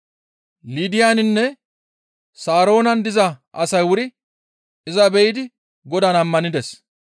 Liidaninne Saroonan diza asay wuri iza be7idi Godaan ammanides.